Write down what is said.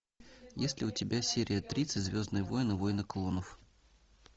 есть ли у тебя серия тридцать звездные войны войны клонов